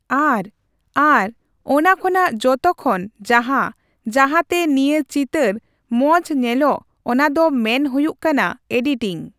ᱟᱨ ᱟᱨ ᱚᱱᱟᱠᱷᱚᱱᱟᱜ ᱡᱚᱛᱚᱠᱷᱚᱱ ᱡᱟᱦᱟᱸ ᱡᱟᱦᱟᱸᱛᱮ ᱱᱤᱭᱟᱹ ᱪᱤᱛᱟᱹᱨ ᱢᱚᱸᱡᱽ ᱧᱮᱞᱚᱜ ᱚᱱᱟᱫᱚ ᱢᱮᱱ ᱦᱩᱭᱩᱜ ᱠᱟᱱᱟ ᱮᱰᱤᱴᱤᱝ ᱾